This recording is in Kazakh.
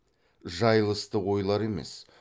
жайылысты ойлар емес